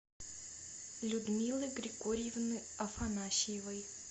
людмилы григорьевны афанасьевой